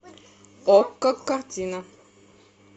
окко картина